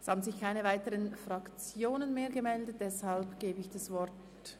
Es hat sich keine weitere Fraktion gemeldet, deshalb übergebe ich das Wort...